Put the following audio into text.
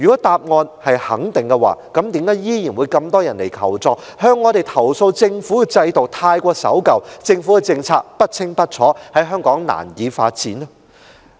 答案是肯定的話，那為何依然有很多人向我們尋求協助，投訴政府的制度太守舊、政策不清不楚、在香港難以發展？